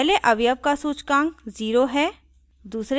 पहले अवयव का सूचकांक 0 है